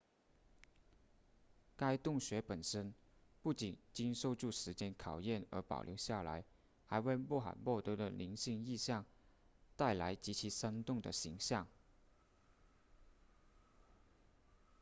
该洞穴本身不仅经受住时间考验而保留下来还为穆罕默德的灵性意向带来极其生动的形象